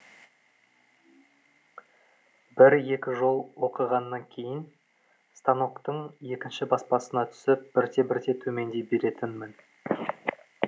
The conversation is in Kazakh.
бір екі жол оқығаннан кейін станоктың екінші баспасына түсіп бірте бірте төмендей беретінмін